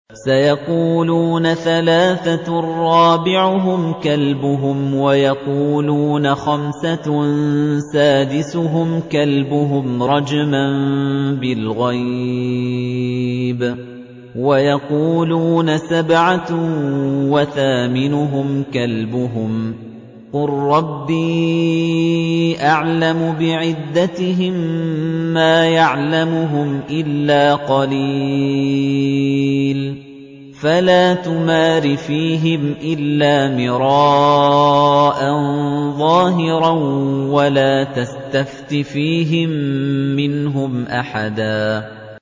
سَيَقُولُونَ ثَلَاثَةٌ رَّابِعُهُمْ كَلْبُهُمْ وَيَقُولُونَ خَمْسَةٌ سَادِسُهُمْ كَلْبُهُمْ رَجْمًا بِالْغَيْبِ ۖ وَيَقُولُونَ سَبْعَةٌ وَثَامِنُهُمْ كَلْبُهُمْ ۚ قُل رَّبِّي أَعْلَمُ بِعِدَّتِهِم مَّا يَعْلَمُهُمْ إِلَّا قَلِيلٌ ۗ فَلَا تُمَارِ فِيهِمْ إِلَّا مِرَاءً ظَاهِرًا وَلَا تَسْتَفْتِ فِيهِم مِّنْهُمْ أَحَدًا